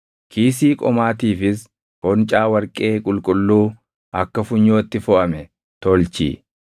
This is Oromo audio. “Kiisii qomaatiifis foncaa warqee qulqulluu akka funyootti foʼame tolchi.